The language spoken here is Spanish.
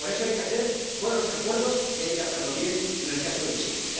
Por eso hay que hacer buenos acuerdos y hay que hacerlo bien en el caso de Chile.